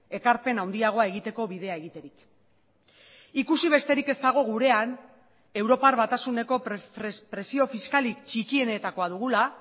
ekarpen handiagoa egiteko bidea egiterik ikusi besterik ez dago gurean europar batasuneko presio fiskalik txikienetakoa dugula